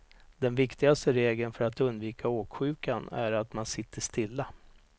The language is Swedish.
Den viktigaste regeln för att undvika åksjukan är att man sitter stilla.